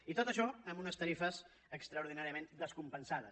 i tot això amb unes tarifes extraordinàriament descompensades